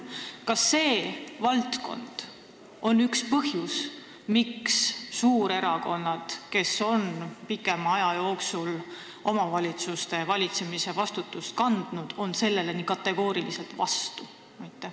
Kas see valdkond on üks põhjus, miks suurerakonnad, kes on pikema aja jooksul omavalitsuse valitsemise vastutust kandnud, on sellele nii kategooriliselt vastu?